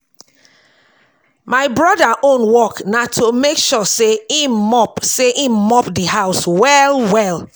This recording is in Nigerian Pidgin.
my broda own work na to mek sure say him mop say him mop the house well well